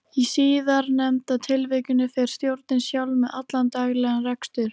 Reykjavík var eins á astralplaninu og í alvörunni.